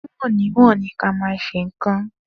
Die e je ma n'aja osiwin kui.